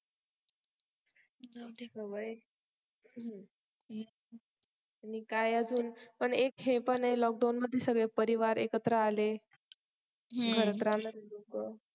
जाऊ दे ग बाई हं आणि काय अजून पण हे एक पण आहे LOCKDOWN मध्ये सगळे परिवार एकत्र आले हं घरात राहणारी लोक